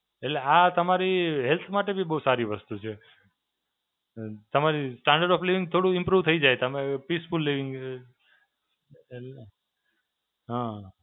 એટલે આ તમારી health માટે બી બહું સારી વસ્તુ છે. તમારી Standard of Living થોડું improve થઈ જાય. તમે Peaceful Living, હાં.